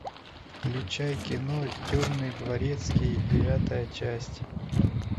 включай кино темный дворецкий девятая часть